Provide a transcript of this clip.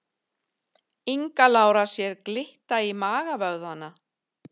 Inga Lára sér glitta í magavöðvana